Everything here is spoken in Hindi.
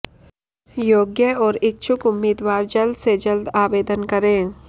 योग्य और इच्छुक उम्मीदवार जल्द से जल्द आवेदन करें